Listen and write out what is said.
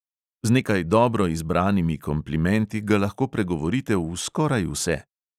Z nekaj dobro izbranimi komplimenti ga lahko pregovorite v skoraj vse.